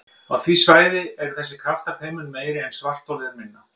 Á því svæði eru þessir kraftar þeim mun meiri sem svartholið er minna.